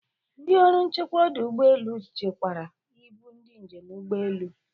Ndị ọrụ nchekwa ọdụ ụgbọelu chekwara ibu ndị njem ụgbọelu.